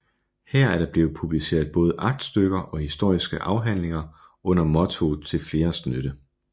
Her er der blevet publiceret både aktstykker og historiske afhandlinger under mottoet Til Fleres Nytte